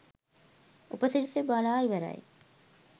උප සිරැසි බාලා ඉවරයි